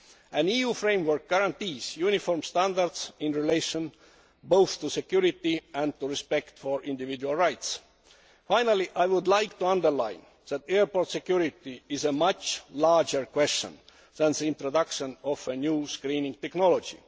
An EU framework guarantees uniform standards in relation both to security and to respect for individual rights. Finally, I would like to underline that airport security is a much larger question than the introduction of a new screening technology.